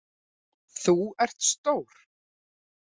Þú ert stór.